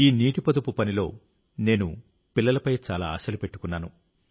ఈ నీటి పొదుపు పనిలో నేను పిల్లలపై చాలా ఆశలు పెట్టుకున్నాను